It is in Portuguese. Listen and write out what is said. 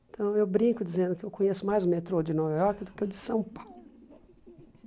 Então eu brinco dizendo que eu conheço mais o metrô de Nova Iorque do que o de São Paulo.